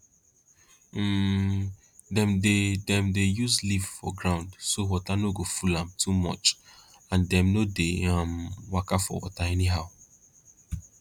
um dem dey dem dey use leaf for ground so water no go full am too much and dem no dey um waka for water anyhow